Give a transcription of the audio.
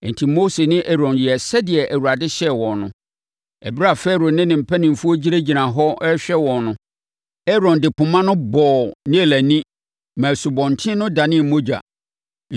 Enti, Mose ne Aaron yɛɛ sɛdeɛ Awurade hyɛɛ wɔn no. Ɛberɛ a Farao ne ne mpanimfoɔ gyinagyina hɔ rehwɛ wɔn no, Aaron de poma no bɔɔ Nil ani maa asubɔnten no danee mogya.